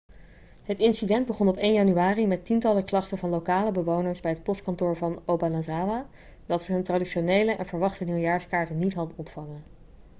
het incident begon op 1 januari met tientallen klachten van lokale bewoners bij het postkantoor van obanazawa dat ze hun traditionele en verwachte nieuwjaarskaarten niet hadden ontvangen